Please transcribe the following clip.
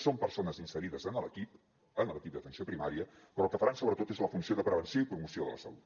són persones inserides en l’equip en l’equip d’atenció primària però el que faran sobretot és la funció de prevenció i promoció de la salut